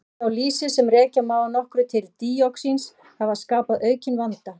Sölutregðu á lýsi, sem rekja má að nokkru til díoxíns hafa skapað aukinn vanda.